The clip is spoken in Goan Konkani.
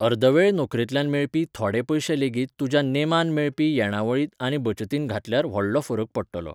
अर्दवेळ नोकरेंतल्यान मेळपी थोडे पयशेलेगीत तुज्या नेमान मेळपी येणावळींत आनी बचतींत घातल्यार व्हडलो फरक पडटलो.